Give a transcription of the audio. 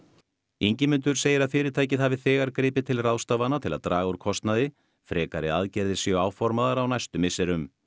Ingimundur segir að fyrirtækið hafi þegar gripið til ráðstafana til að draga úr kostnaði frekari aðgerðir séu áformaðar á næstu misserum